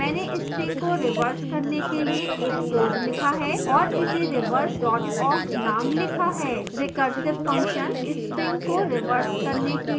मैंने string को reverse करने के लिए एक code लिखा है और इसे reverse awk named लिखा है